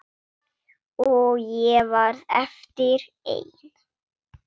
Og ég varð eftir ein.